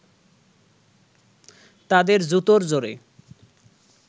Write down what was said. তাদের জুতোর জোরে